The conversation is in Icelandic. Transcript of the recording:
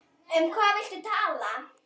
Um hvað viltu tala?